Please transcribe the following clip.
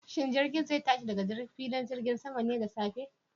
Shin jirgin zai tashi daga filin jirgin saman ne da safe?